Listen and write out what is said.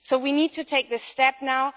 So we need to take this step now.